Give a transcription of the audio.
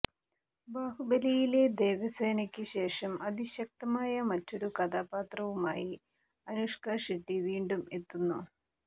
ബാഹുബലിയിലെ ദേവസേനയ്ക്ക് ശേഷം അതിശക്തമായ മറ്റൊരു കഥാപാത്രവുമായി അനുഷ്ക ഷെട്ടി വീണ്ടും എത്തുന്നു